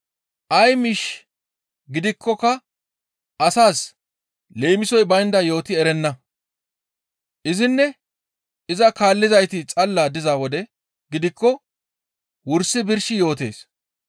Ay miish gidikkoka asaas leemisoy baynda yooti erenna. Izinne iza kaallizayti xalla diza wode gidikko wursi birshi yootees.